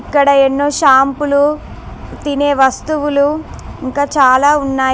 ఇక్కడ ఎన్నో షాంపులు తినే వస్తువులు ఇంకా చాలా ఉన్నాయి.